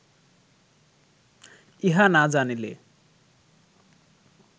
ইহা না জানিলে